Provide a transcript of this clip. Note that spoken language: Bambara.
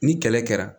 Ni kɛlɛ kɛra